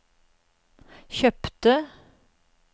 kjøpte